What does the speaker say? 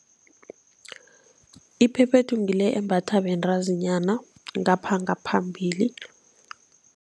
Iphephethu ngile embathwa bentazinyana, ngapha ngaphambili.